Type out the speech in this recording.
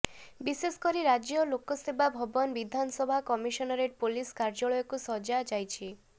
ବିଶେଷକରି ରାଜ୍ୟ ଲୋକସେବା ଭବନ ବିଧାନସଭା କମିଶନରେଟ ପୋଲିସ କାର୍ଯ୍ୟାଳୟକୁ ସଜା ଯାଇଛି